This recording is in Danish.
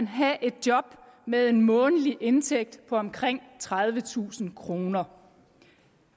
have et job med en månedlig indtægt på omkring tredivetusind kroner